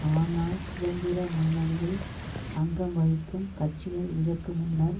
ஆனால் சுதந்திர முன்னணியில் அங்கம் வகிக்கும் கட்சிகள் இதற்கு முன்னர்